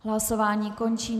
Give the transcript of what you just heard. Hlasování končím.